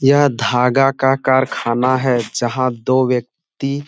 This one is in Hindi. यह धागा का कारखाना है जहां दो व्यक्ति --